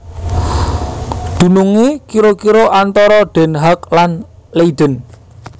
Dunungé kira kira antara Den Haag lan Leiden